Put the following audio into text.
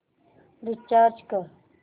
recharge कर